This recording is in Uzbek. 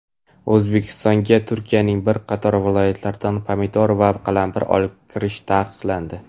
O‘zbekistonga Turkiyaning bir viloyatidan pomidor va qalampir olib kirish taqiqlandi.